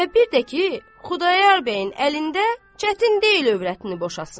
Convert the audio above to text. Və bir də ki, Xudayar bəyin əlində çətin deyil övrətini boşasın.